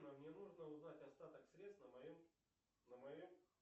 мне нужно узнать остаток средств на моем на моем